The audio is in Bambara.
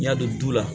N'i y'a don du la